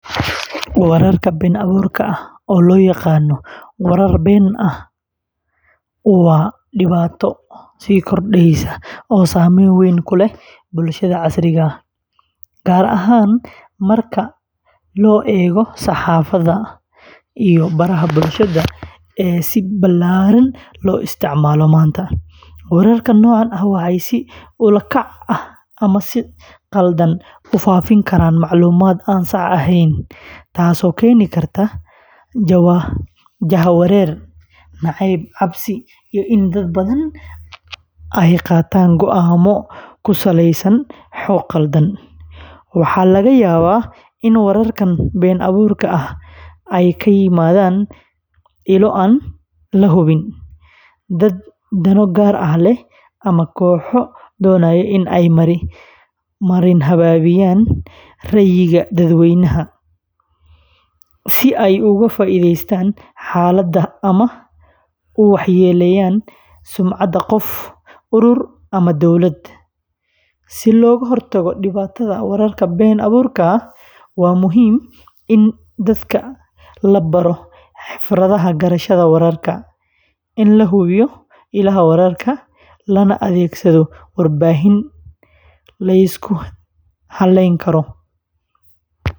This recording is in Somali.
Warka been abuurka ah, oo loo yaqaan "warar been ah", waa dhibaato sii kordheysa oo saameyn weyn ku leh bulshada casriga ah, gaar ahaan marka la eego saxaafadda iyo baraha bulshada ee si ballaaran loo isticmaalo maanta; wararka noocan ah waxay si ula kac ah ama si khaldan u faafi karaan macluumaad aan sax ahayn, taasoo keeni karta jahawareer, nacayb, cabsi, iyo in dad badan ay qaataan go'aanno ku saleysan xog khaldan; waxaa laga yaabaa in wararkan been abuurka ahi ay ka yimaadaan ilo aan la hubin, dad dano gaar ah leh, ama kooxo doonaya in ay marin habaabiyaan ra'yiga dadweynaha, si ay uga faa’iidaystaan xaalada ama u waxyeelleeyaan sumcadda qof, urur, ama dowlad; si looga hortago dhibaatada warka been abuurka ah, waa muhiim in dadka la baro xirfadaha garashada wararka, in la hubiyo ilaha wararka, lana adeegsado warbaahin la isku halleyn karo.